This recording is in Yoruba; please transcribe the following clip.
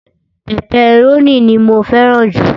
pẹpẹrónì ni mó fẹràn ju